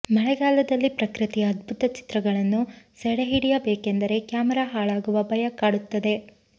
ಮಳೆಗಾಲದಲ್ಲಿ ಪ್ರಕೃತಿಯ ಅದ್ಬುತ ಚಿತ್ರಗಳನ್ನು ಸೆರೆ ಹಿಡಿಯಬೇಕೆಂದರೆ ಕ್ಯಾಮರಾ ಹಾಳಾಗುವ ಭಯ ಕಾಡುತ್ತದೆ